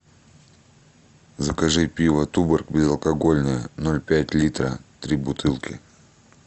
закажи пиво туборг безалкогольное ноль пять литра три бутылки